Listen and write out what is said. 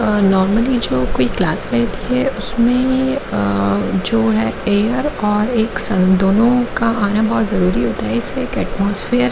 normally जो कोई class है उसमें जो है एयर और एक दोनो का आना बहुत जरूरी होता है इससे एक एटमॉस्फेयर --